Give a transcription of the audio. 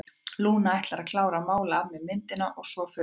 Lúna ætlar að klára að mála af mér myndina og svo förum við.